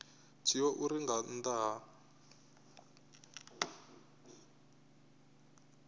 dzhiiwa uri nga nnḓa ha